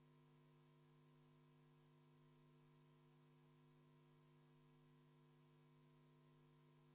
Eelnõu poolt on 79 saadikut, vastuhääli ei ole, erapooletuid on 3.